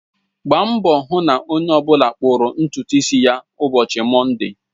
Gbaa mbọ hụ na onye ọ bụla kpụrụ ntutu isi ya ụbọchị Mọnde!